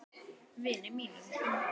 Vini mínum!